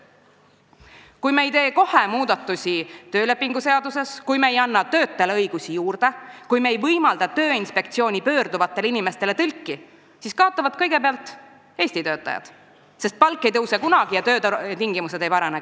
Kui me ei tee kohe muudatusi töölepinguseaduses, kui me ei anna töötajale õigusi juurde, kui me ei võimalda Tööinspektsiooni pöörduvatele inimestele tõlki, siis kaotavad kõigepealt Eesti töötajad, sest nende palk ei tõuse kunagi ja ka töötingimused ei parane.